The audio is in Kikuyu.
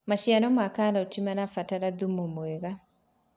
maciaro ma karoti marabatara thumu mwega